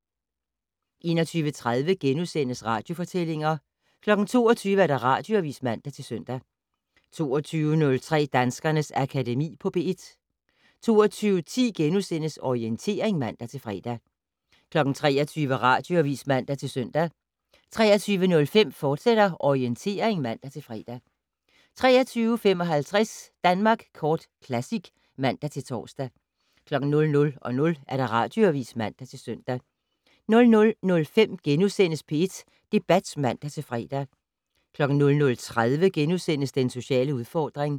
21:30: Radiofortællinger * 22:00: Radioavis (man-søn) 22:03: Danskernes Akademi på P1 22:10: Orientering *(man-fre) 23:00: Radioavis (man-søn) 23:05: Orientering, fortsat (man-fre) 23:55: Danmark Kort Classic (man-tor) 00:00: Radioavis (man-søn) 00:05: P1 Debat *(man-fre) 00:30: Den sociale udfordring *